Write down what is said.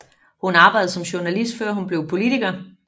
Hun arbejdede som journalist før hun blev politiker